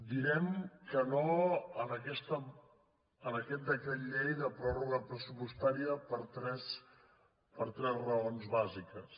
direm que no a aquest decret llei de pròrroga pressupostària per tres raons bàsiques